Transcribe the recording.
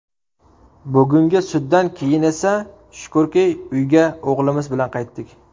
Bugungi suddan keyin esa shukrki, uyga o‘g‘limiz bilan qaytdik.